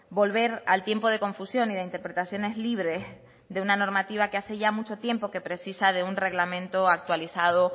volver al tiempo de confusión y de interpretaciones libres de una normativa que hace ya mucho tiempo que precisa de un reglamento actualizado